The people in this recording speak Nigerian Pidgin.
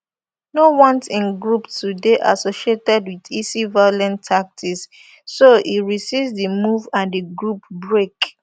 no want im group to dey associated wit isi violent tactics so e resist di move and di group break